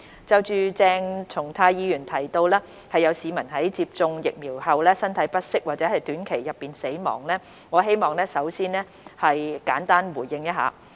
就鄭松泰議員提到有市民在接種疫苗後身體不適，或於短期內死亡，我希望先作出簡單回應。